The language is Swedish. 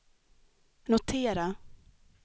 notera